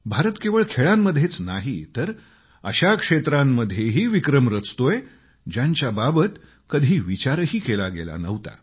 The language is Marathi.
भारत केवळ खेळांमध्येच नाही तर अशा क्षेत्रांमध्येही विक्रम रचतोय ज्यांच्या बाबत कधी विचारही केला गेला नव्हता